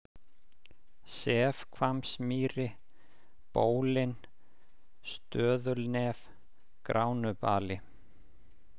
Sefhvammsmýri, Bólin, Stöðulnef, Gránubali